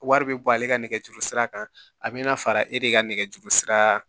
Wari bɛ bɔ ale ka nɛgɛjuru sira kan a bɛna fara e de ka nɛgɛjuru sira